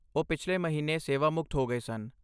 ਉਹ ਪਿਛਲੇ ਮਹੀਨੇ ਸੇਵਾਮੁਕਤ ਹੋ ਗਏ ਸਨ।